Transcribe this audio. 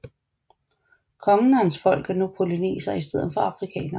Kongen og hans folk er nu polynesere i stedet for afrikanere